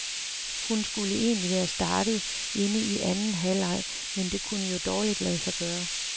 Hun skulle egentlig være startet inde i anden halvleg, men det kunne jo dårligt lade sig gøre.